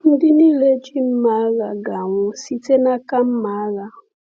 “Ndị niile ji mma agha ga-anwụ site n’aka mma agha.”